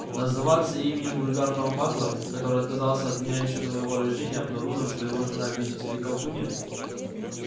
называться именем вульгарного магла который отказался от меня ещё до моего рождения обнаружив что его жена видите ли колдунья